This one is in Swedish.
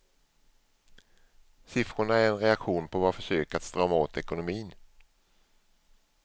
Siffrorna är en reaktion på våra försök att strama åt ekonomin.